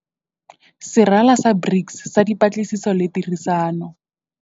Serala sa BRICS sa Dipatlisiso le Tirisano.